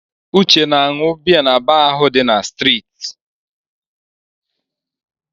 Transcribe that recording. Uche na-aṅụ biya na baa ahụ dị n'streeti.